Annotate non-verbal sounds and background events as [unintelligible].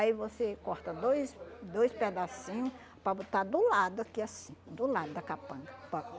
Aí você corta dois dois pedacinho para botar do lado aqui assim, do lado da capanga. [unintelligible]